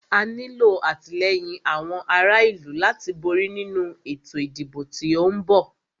A nílo àtìlẹ́yìn àwọn ará ìlú láti borí nínu ètò ìdìbò tí o ń bọ̀.